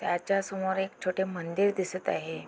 त्याच्यासमोर एक छोटे मंदिर दिसत आहे.